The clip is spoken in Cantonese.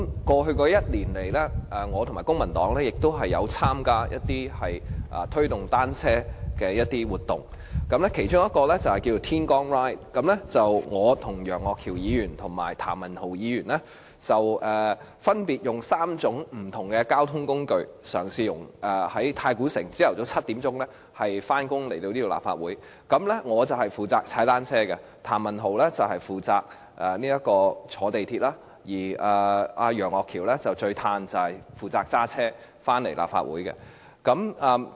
過去1年來，我和公民黨亦參加了一些推動單車的活動，其中一項活動名為"天光 Ride"， 由我、楊岳橋議員和譚文豪議員在早上7時，分別以3種不同的交通工具，由太古城前來立法會上班。我負責騎單車、譚文豪議員負責乘坐港鐵，而楊岳橋議員最舒服，負責駕車到立法會上班。